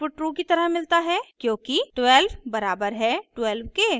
हमें output true की तरह मिलता है क्योंकि 12 बराबर है 12 के